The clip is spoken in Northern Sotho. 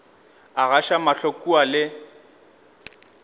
a gaša mahlo kua le